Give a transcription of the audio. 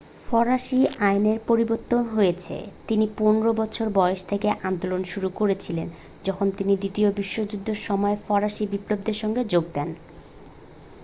ফরাসি আইনে পরিবর্তন হয়েছে তিনি 15 বছর বয়স থেকে আন্দোলন শুরু করেছিলেন যখন তিনি দ্বিতীয় বিশ্বযুদ্ধের সময় ফরাসি বিপ্লবীদের সঙ্গে যোগ দেন